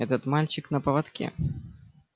этот мальчик на поводке